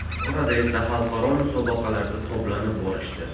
Orada esa xalqaro musobaqalarda toblanib borishdi.